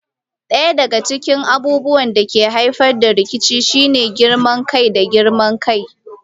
Ɗaya daga cikin abubuwan da ke haifar da rikici shine girman kai da girman kai.